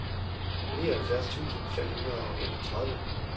nioghalvfjerds tusind fem hundrede og enogtredive